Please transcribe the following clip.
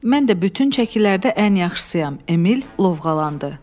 Mən də bütün çəkilərdə ən yaxşısıyam, Emil lovğalandı.